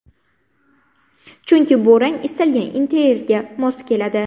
Chunki bu rang istalgan interyerga mos keladi.